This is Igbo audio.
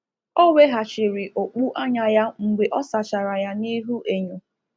Ọ weghachiri okpu anya ya mgbe ọ sachara ya n’ihu enyo.